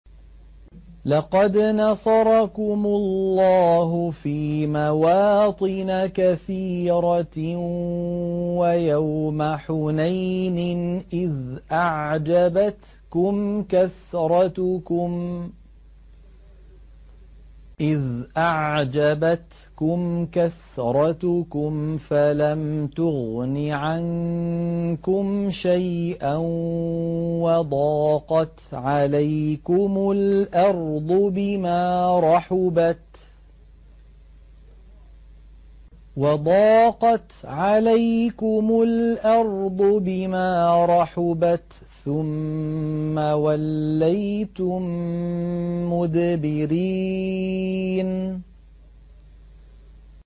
لَقَدْ نَصَرَكُمُ اللَّهُ فِي مَوَاطِنَ كَثِيرَةٍ ۙ وَيَوْمَ حُنَيْنٍ ۙ إِذْ أَعْجَبَتْكُمْ كَثْرَتُكُمْ فَلَمْ تُغْنِ عَنكُمْ شَيْئًا وَضَاقَتْ عَلَيْكُمُ الْأَرْضُ بِمَا رَحُبَتْ ثُمَّ وَلَّيْتُم مُّدْبِرِينَ